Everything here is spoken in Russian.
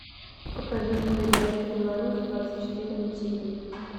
покажи мне передачу беларусь двадцать четыре на тиви